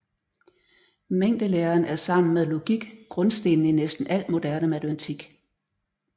Mængdelæren er sammen med logik grundstenen i næsten al moderne matematik